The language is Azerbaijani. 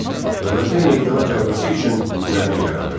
Dövlətin meydana gəlməsi üçün zəmin yaranırdı.